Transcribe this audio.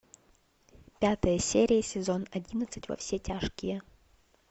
пятая серия сезон одиннадцать во все тяжкие